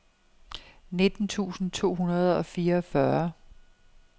nitten tusind to hundrede og fireogfyrre